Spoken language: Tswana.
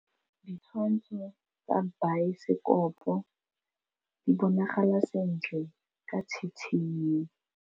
Ditshwantshô tsa biosekopo di bonagala sentle ka tshitshinyô.